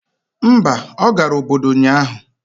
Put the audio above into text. Mba, ọ gara obodo ụnyahụ.